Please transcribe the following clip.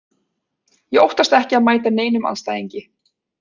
Ég óttast ekki að mæta neinum andstæðingi.